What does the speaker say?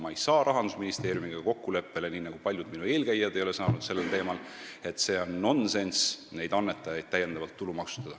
Ma ei saa Rahandusministeeriumiga kokkuleppele, nii nagu paljud minu eelkäijad ei ole saanud, sellel teemal, et on nonsenss neid annetajad täiendavalt tulumaksustada.